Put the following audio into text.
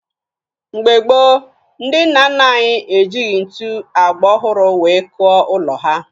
Mgbe gboo, ndị nna nna anyị ejighi ntu agba ọhụrụ wee kụọ ụlọ ha